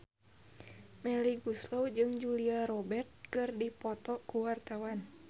Melly Goeslaw jeung Julia Robert keur dipoto ku wartawan